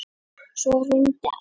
Svo hrundi allt.